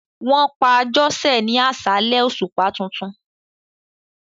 Wọn pa Àjosẹ ni aṣálẹ̀ òṣùpá tuntun.